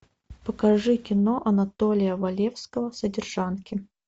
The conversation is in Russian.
покажи кино анатолия валевского содержанки